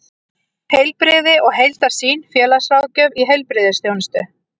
Heilbrigði og heildarsýn: félagsráðgjöf í heilbrigðisþjónustu.